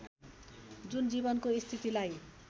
जुन जीवनको स्थितिलाई